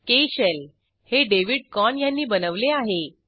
के शेल हे David Corn ह्यांनी बनवले आहे